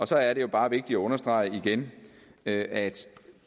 så er det jo bare vigtigt at understrege igen at